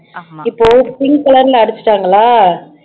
இப்போ pink color ல அடிச்சுட்டாங்களா